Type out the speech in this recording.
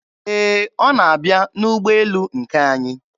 Ee, ọ na-abịa n'ụgbọelu nke anyị.